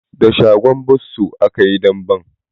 Da shagon bosso aka yi damben.